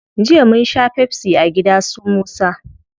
Jiya munsha pepsi a gida su musa